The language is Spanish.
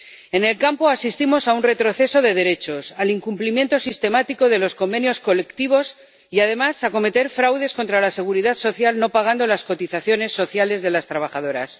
En el campo asistimos a un retroceso de derechos, al incumplimiento sistemático de los convenios colectivos y, además, a cometer fraudes contra la Seguridad Social no pagando las cotizaciones sociales de las trabajadoras.